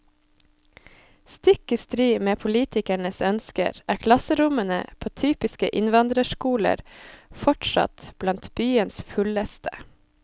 Stikk i strid med politikernes ønsker, er klasserommene på typiske innvandrerskoler fortsatt blant byens fulleste.